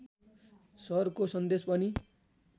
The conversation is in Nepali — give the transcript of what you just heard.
सरको सन्देश पनि